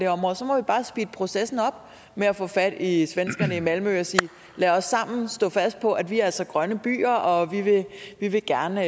område så må vi bare speede processen op med at få fat i svenskerne i malmø og sige lad os sammen stå fast på at vi altså er grønne byer og vi vil gerne